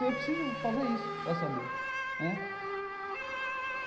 Eu preciso fazer isso para saber né.